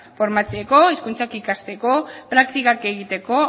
formatzeko hizkuntzakikasteko praktikak egiteko